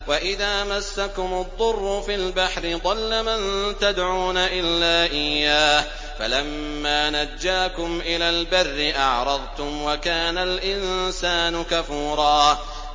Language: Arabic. وَإِذَا مَسَّكُمُ الضُّرُّ فِي الْبَحْرِ ضَلَّ مَن تَدْعُونَ إِلَّا إِيَّاهُ ۖ فَلَمَّا نَجَّاكُمْ إِلَى الْبَرِّ أَعْرَضْتُمْ ۚ وَكَانَ الْإِنسَانُ كَفُورًا